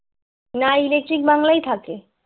না electric বাংলায় থাকে